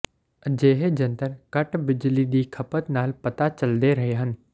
ਅਜਿਹੇ ਜੰਤਰ ਘੱਟ ਬਿਜਲੀ ਦੀ ਖਪਤ ਨਾਲ ਪਤਾ ਚੱਲਦਾ ਰਹੇ ਹਨ